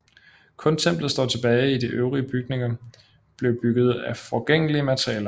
Kun templet står tilbage idet øvrige bygninger blev bygget af forgængelige materialer